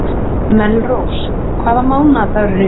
Melrós, hvaða mánaðardagur er í dag?